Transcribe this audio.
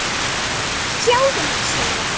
og Sjáðu mig sumar!